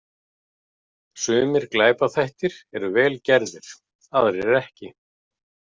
Sumir glæpaþættir eru vel gerðir, aðrir ekki.